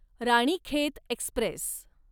Ranikhet Express